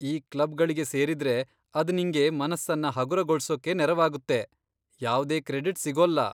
ಈ ಕ್ಲಬ್ಗಳಿಗೆ ಸೇರಿದ್ರೆ ಅದ್ ನಿಂಗೆ ಮನಸ್ಸನ್ನ ಹಗುರಗೊಳ್ಸೋಕೆ ನೆರವಾಗುತ್ತೆ, ಯಾವ್ದೇ ಕ್ರೆಡಿಟ್ಸ್ ಸಿಗೊಲ್ಲ.